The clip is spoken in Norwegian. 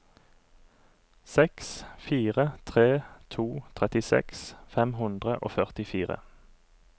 seks fire tre to trettiseks fem hundre og førtifire